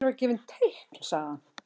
Mér var gefið teikn sagði hann.